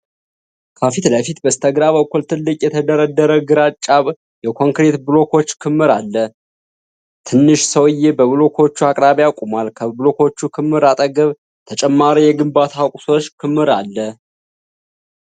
ከፊት ለፊት በስተግራ በኩል ትልቅ፣ የተደረደረ ግራጫ የኮንክሪት ብሎኮች ክምር አለ። ትንሽ ሰውዬ በብሎኮቹ አቅራቢያ ቆሟል፤ ከብሎኮች ክምር አጠገብ ተጨማሪ የግንባታ ቁሶች ክምር አለ።